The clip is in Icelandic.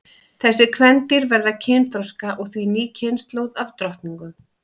Þessi kvendýr verða kynþroska og því ný kynslóð af drottningum.